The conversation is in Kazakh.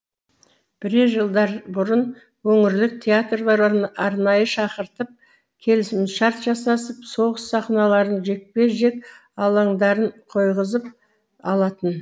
бірер жылдарбұрын өңірлік театрлар арнайы шақыртып келісімшарт жасасып соғыс сахналарын жекпе жек алаңдарын қойғызып алатын